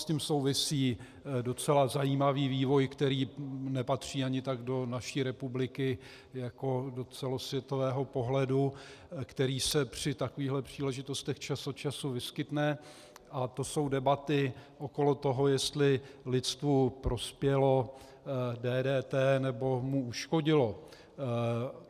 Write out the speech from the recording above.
S tím souvisí docela zajímavý vývoj, který nepatří ani tak do naší republiky jako do celosvětového pohledu, který se při takových příležitostech čas od času vyskytne, a to jsou debaty okolo toho, jestli lidstvu prospělo DDT, nebo mu uškodilo.